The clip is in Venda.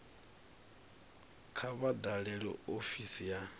kha vha dalele ofisi ya